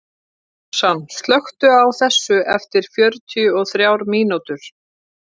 Súsan, slökktu á þessu eftir fjörutíu og þrjár mínútur.